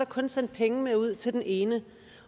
kun sendt penge med ud til den ene